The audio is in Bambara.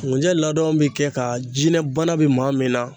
Ŋunjɛ ladɔn bi kɛ ka jinɛ bana bi maa min na